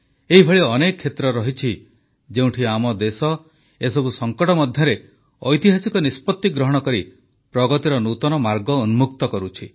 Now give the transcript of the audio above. ଏଭଳି ଅନେକ କ୍ଷେତ୍ର ରହିଛି ଯେଉଁଠି ଆମ ଦେଶ ଏହିସବୁ ସଙ୍କଟ ମଧ୍ୟରେ ଐତିହାସିକ ନିଷ୍ପତ୍ତି ଗ୍ରହଣ କରି ପ୍ରଗତିର ନୂତନ ମାର୍ଗ ଉନ୍ମୁକ୍ତ କରୁଛି